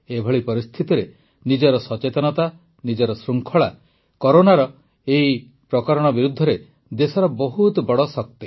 ଏଭଳି ପରିସ୍ଥିତିରେ ନିଜର ସଚେତନତା ନିଜର ଶୃଙ୍ଖଳା କରୋନାର ଏହି ଭାରିଏଣ୍ଟ ବିରୁଦ୍ଧରେ ଦେଶର ବହୁତ ବଡ଼ ଶକ୍ତି